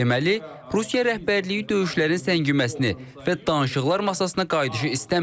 Deməli, Rusiya rəhbərliyi döyüşlərin səngiməsini və danışıqlar masasına qayıdışı istəmir.